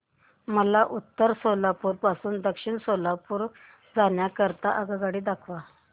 मला उत्तर सोलापूर पासून दक्षिण सोलापूर जाण्या करीता आगगाड्या दाखवा